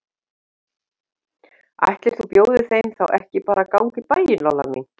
Ætli þú bjóðir þeim þá ekki að ganga í bæinn, Lolla mín.